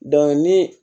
ni